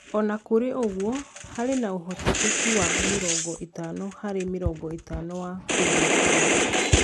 O na kũrĩ ũguo, harĩ na ũhotekeku wa mĩrongo ĩtano harĩ mĩrongo ĩtano wa kũriũkio.